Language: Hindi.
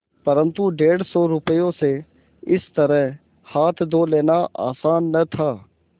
परन्तु डेढ़ सौ रुपये से इस तरह हाथ धो लेना आसान न था